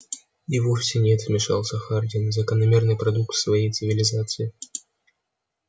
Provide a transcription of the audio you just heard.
и вовсе нет вмешался хардин закономерный продукт своей цивилизации